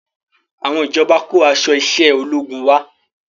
Àwọn ìjọba kó aṣọ iṣẹ́ ológun wá